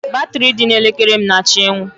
Batrị dị na elekere m na-achọ ịnwụ.